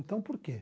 Então, por quê?